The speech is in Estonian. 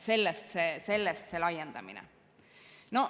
Sellest see laiendamine.